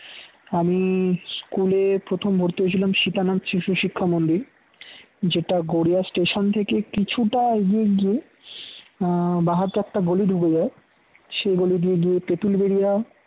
আমি school এ প্রথম ভর্তি হয়েছিলাম সীতানাথ শিশু শিক্ষা মন্দির, যেটা গড়িয়া station থেকে কিছুটা এগিয়ে গিয়ে আহ বাম হাতে একটা গলি ঢুকে যায় সেই গলি দিয়ে গিয়ে তেঁতুল বেরিয়া